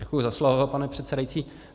Děkuji za slovo, pane předsedající.